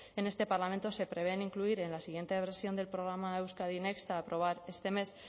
en este parlamento se prevén incluir en la siguiente la versión del programa euskadi next a aprobar este mes